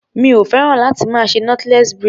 Mi o féràn láti máa ṣe knotless braid.